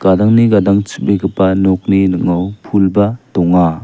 gadangni gadang chubegipa nokni ning·o pulba donga.